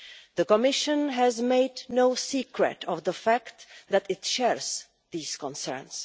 The Commission has made no secret of the fact that it shares these concerns.